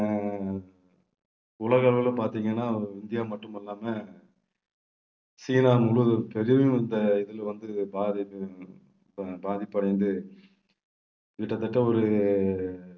உலக அளவுல பாத்தீங்கன்னா இந்தியா மட்டுமல்லாம சீனா முழுவதும் பிரதிதினம் இந்த இதுல வந்து பாதிப்பு அஹ் பாதிப்படைந்து கிட்டத்தட்ட ஒரு